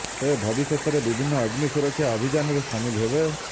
ସେ ଭବିଷ୍ୟତରେ ବିଭିନ୍ନ ଅଗ୍ନି ସୁରକ୍ଷା ଅଭିଯାନରେ ସାମିଲ ହେବେ